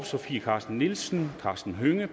sofie carsten nielsen karsten hønge